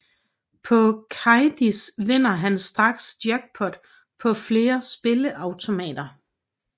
På Kadies vinder han straks jackpot på flere spilleautomater